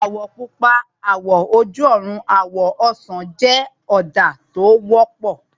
Àwọ̀ Pupa, àwọ̀ oloju ọrùn, àwọ̀ ọsàn jẹ́ ọ̀dà tó wọ́pọ̀